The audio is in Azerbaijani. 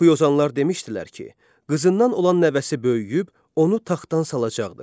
Yuxuyozanlar demişdilər ki, qızından olan nəvəsi böyüyüb onu taxtdan salacaqdır.